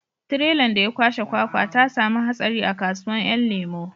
Tirelan da ya kwashe kwakwa ta samu hatsari a kasuwan 'yan lemo